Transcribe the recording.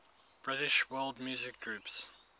british world music groups